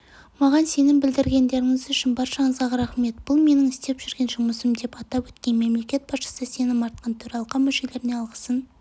маған сенім білдіргендеріңіз үшін баршаңызға рахмет бұл менің істеп жүрген жұмысым деп атап өткен мемлекет басшысы сенім артқан төралқа мүшелеріне алғысын